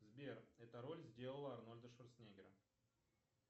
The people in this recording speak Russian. сбер эта роль сделала арнольда шварценеггера